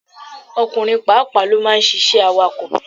Ọkùnrin pàápàá ló ma ń ṣiṣẹ́ awakọ̀.